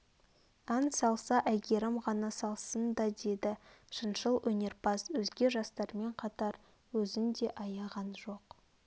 ән салса әйгерім ғана салсын да деді шыншыл өнерпаз өзге жастармен қатар өзін де аяған жоқ